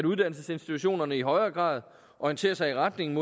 uddannelsesinstitutionerne i højere grad orientere sig i retning